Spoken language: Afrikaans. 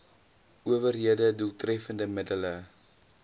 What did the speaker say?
owerhede doeltreffende middele